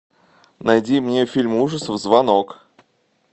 найди мне фильм ужасов звонок